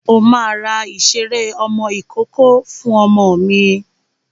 O máa ra ìṣeré ọmọ ìkókó fún ọmọ mi.